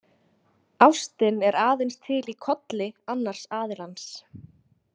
Ástin er aðeins til í kolli annars aðilans.